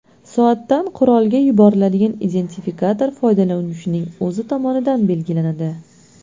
Soatdan qurolga yuboriladigan identifikator foydalanuvchining o‘zi tomonidan belgilanadi.